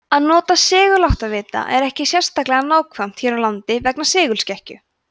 að nota seguláttavita er ekki sérlega nákvæmt hér á landi vegna segulskekkju